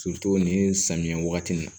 nin samiyɛ wagati in na